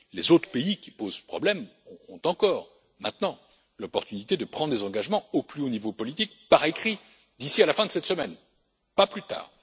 Les autres pays qui posent problème ont encore maintenant l'opportunité de prendre des engagements au plus haut niveau politique, par écrit, d'ici à la fin de cette semaine, pas plus tard.